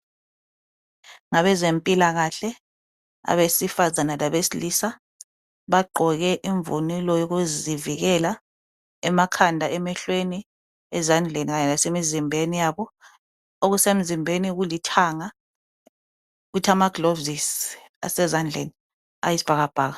Abezempilakahle abesifazana labesilisa bagqoke imvunulo yokuzivikela emakhanda, emehlweni, ezandleni kanye lasemizimbeni yabo. Okusemizimbeni kulithanga kuthi amagilovisi asezandleni ayisibhakabhaka.